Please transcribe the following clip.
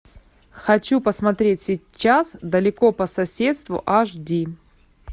хочу посмотреть сейчас далеко по соседству аш ди